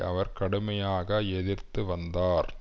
அவர் கடுமையாக எதிர்த்து வந்தார்